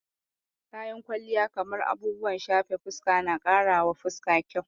Kayan kwalliya kamar abubuwan shafe fuska na karawa fuska kyau